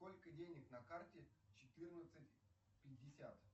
сколько денег на карте четырнадцать пятьдесят